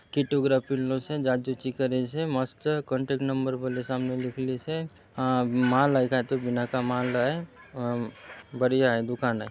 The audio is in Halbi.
किटोग्राप किनलोसे जाच जुचि करेसे मस्त कांटेक्ट नंबर बोलो सामने लिखलेसे आ माल आए काए तो बिनाका माल आए अ बढ़िया आए दुकान आए।